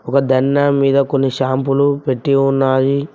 ఒక దండం మీద కొన్ని షాంపులు పెట్టి ఉన్నాయి.